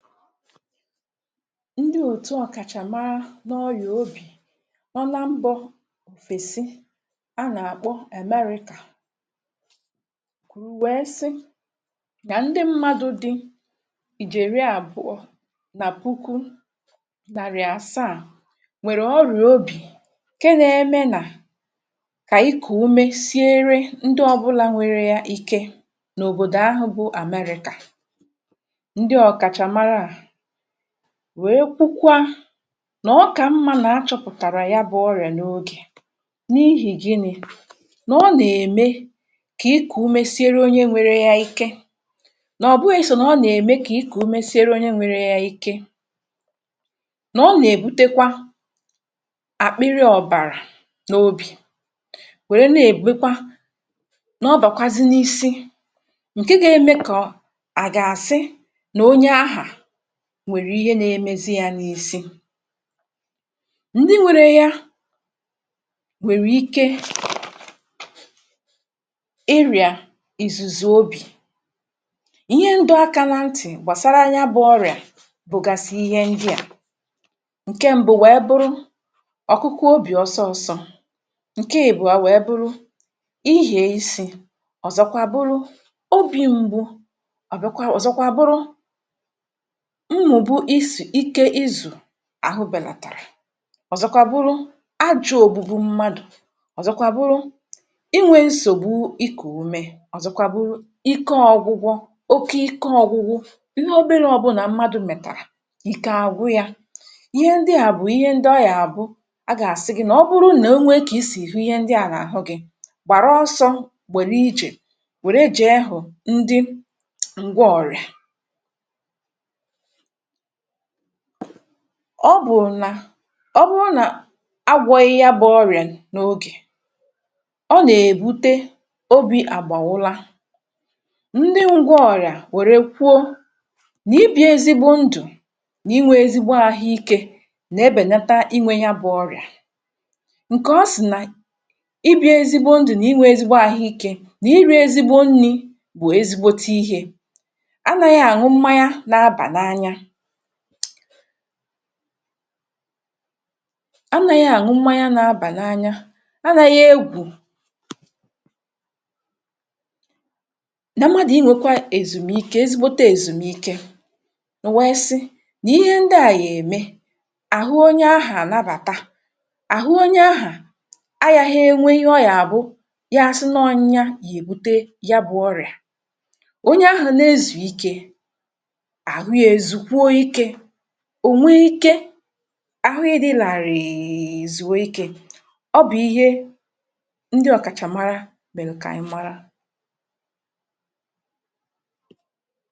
Ndị òtù ọ̀kàchàmàrà n’ọ́yịà ọ̀bì ọ́ na mbọ̄ òfèsì a nà-àkpọ̀ èmeríkà kwùwèè sì nà ndị mmádụ dị í jèrè àbụọ̄ nà pùkù nàrì àsàá nwèrè ọ́rịà ọ̀bì ké nà-èmè nà kà ikú úmé sìèrè ndị ọ́bụ́là nwèrè yà íké n’òbòdò ahụ̄ bụ̀ Àmeríkà. Ndị ọ̀kàchàmàrà wèe kwùkwà nà ọ́kà mmá nà-achọ̀pụ̀tàrà yà bụ ọ́rịà n’ògè n’ìhì gị́nị̄ nà ọ́ nà-èmè kà ikù́ úmé sìèrè onye nwèrè yà íké, nà ọ̀bụ̀ghị sọ̀ nà ọ́ nà-èmè kà ikú úmé sìèrè onye nwèrè yà íké, nà ọ́ nà-èbutèkwà àkpịrị ọ̀bàrà n’ọ́bì wèrè nà-èbùkwà nà ọ́ bàkwàzì n’ísì ǹké gà-èmè kà à à gà-àsị nà onye ahụ̄ nwèrè íhè nà-èmézì yà n’ísí. Ndị nwèrè yà nwèrè íké ịrịà ìzùzú́ ọ́bì, íhè ndị àkà nà ntị gbàsàrà ànyá bụ̀ ọ́rịà bụ̀gàsì íhè ndị à. Ǹké mbù̀ nwèé bụrụ̀ ọ́kụ́kụ́ ọ́bí ọ̀sọ̀ọ́sọ̄, ǹké èbùà nwèé bụrụ̀ íhè ísì; ọ́zọ̀kwàà bụrụ̀ ọ́bì m̀gbù̀; ọ̀ bịàkwàà ọ́zọ̀kwàà bụrụ̀ mmụ̀bụ̀ ìsì íké ízù àhú bèlàtàrà; ọ́zọ̀kwàà bụrụ̀ àjọ́ òbùbù̀ mmádụ̄; ọ́zọ̀kwàà bụrụ̀ ịnwè nsògbù ikú úmé; ọ́zọ̀kwàà bụrụ̀ íké ọ́gwụ́gwụ̀ ókè íké ọ́gwụ́gwụ̀ n’òbèrè; ọ́bụ̀ nà mmádụ̄ mètàrà íké àgwụ́ yà. Íhè ndị à bụ̀ íhè ndị ọ́ yà bụ̀ à gà-àsị gị nà ọ́ bụrụ̀ nà ò nwè kà í sì íhè ndị à n’áhú gị, gbàrà ọsọ̄ gbèrè ìjè, wèrè jì ehụ̀ ndị ǹgwá ọ́rịà. Ọ́ bụ̀ nà ọ́ bụrụ̀ nà a gwọ̄ghị̄ yà bụ̄ ọ́rịà n’ògè, ọ́ nà-èbùtẹ́ ọ́bi àgbà ụlọ̀. Ndị ǹgwá ọ́rịà wèrè kwùó nà ìbị ezí gbo ndụ̀ nà ịnwé ezí gbo àhú íké nà-ebèlàtà ịnwé íhè bụ̄ ọ́rịà. Ǹké ọ́ sị̄ nà ìbị́ ezí gbo ndụ̀, nà ịnwé ezí gbo àhú íké, nà írí ezígbo ǹní bụ̀ ezígbōté íhè — ànà̀ghị̄ ànụ́ mmá nyà nà-àbànà ànyá. Ànà̀ghị̄ ànụ́ mmá nyà nà-àbànà ànyá̄; ànà̀ghị̄ égwù̀; nà mmádụ̄ ịnwékwàa èzù̀míkè, èzì kpò té èzù̀míkè, ò wé é sị̄ n’íhè ndị à yà èmè àhú onye ahụ̄ ànabàtà àhú onye ahụ̄. À yàghì ịnwé íhè ọ́ yà bụ̀ yà-ásì nọ nyà yà èbùté yà bụ̄ ọ́rịà. Onye ahụ̄ nà èzù̀ ìké, àhú yà èzù̀kwùō íkē; ọ́ nwè íké àhú ghì dị́ lá rìị ízù̀nwè íké, ọ́ bụ̀ íhè ndị ọ̀kàchàmàrà mērè kà ànyị màrà.